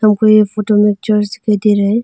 हमको ये फोटो में चर्च दिखाई दे रहा है।